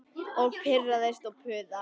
Og pirrast og puða.